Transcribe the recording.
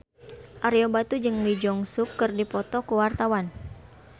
Ario Batu jeung Lee Jeong Suk keur dipoto ku wartawan